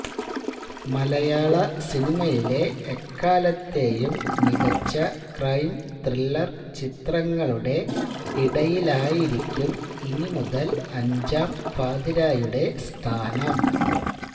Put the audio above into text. മലയാള സിനിമയിലെ എക്കാലത്തെയും മികച്ച ക്രൈം ത്രില്ലര് ചിത്രങ്ങളുടെ ഇടയിലായിരിക്കും ഇനി മുതല് അഞ്ചാം പാതിരായുടെ സ്ഥാനം